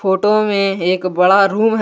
Photo में एक बड़ा रूम है।